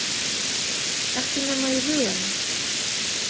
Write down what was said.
Ekki nema í huganum.